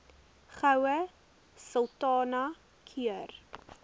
goue sultana keur